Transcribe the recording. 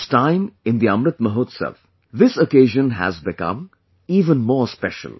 This time in the 'Amrit Mahotsav', this occasion has become even more special